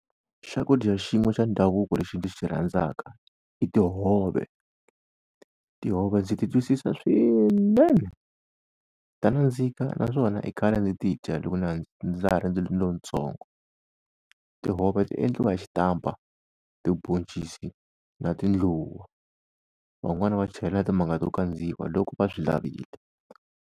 Swakudya xin'we xa ndhavuko lexi ndzi xi rhandzaka i tihove, tihove ndzi titwisisa swinene, ta nandzika naswona i khale ndzi ti dya loko na ndza ha ri lontsongo. Tihove ti endliwa hi xitampa, tiboncisi na tindluwa, van'wani va chela timanga to kandziwa loko va swi lavile.